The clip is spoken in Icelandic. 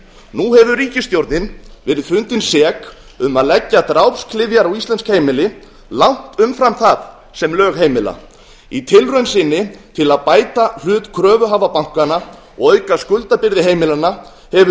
nú hefur ríkisstjórnin verið fundin sek um að leggja drápsklyfjar á íslensk heimili langt umfram það sem lög heimila í tilraun sinni til að bæta hlut kröfuhafa bankanna og auka skuldabyrði heimilanna hefur